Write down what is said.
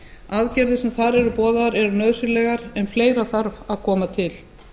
aðgerðir sem þar eru boðaðar eru nauðsynlegar en fleira þarf að koma til